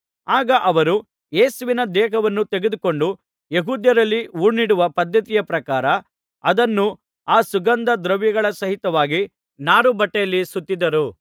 ಆಗ ಅವರು ಯೇಸುವಿನ ದೇಹವನ್ನು ತೆಗೆದುಕೊಂಡು ಯೆಹೂದ್ಯರಲ್ಲಿ ಹೂಣಿಡುವ ಪದ್ಧತಿಯ ಪ್ರಕಾರ ಅದನ್ನು ಆ ಸುಗಂಧ ದ್ರವ್ಯಗಳ ಸಹಿತವಾಗಿ ನಾರುಬಟ್ಟೆಯಲ್ಲಿ ಸುತ್ತಿದರು